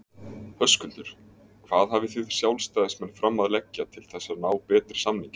Höskuldur: Hvað hafið þið sjálfstæðismenn fram að leggja til þess að ná betri samningi?